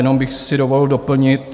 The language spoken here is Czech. Jenom bych si dovolil doplnit.